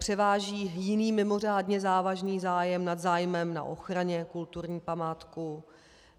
Převáží jiný mimořádně závažný zájem nad zájmem na ochraně kulturní památky.